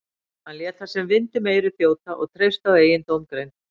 Hann lét það sem vind um eyru þjóta og treysti á eigin dómgreind.